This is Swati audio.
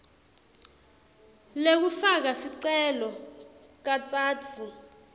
lekufaka sicelo katsatfu